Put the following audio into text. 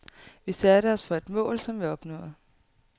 Vi satte os for et mål, som vi opnåede.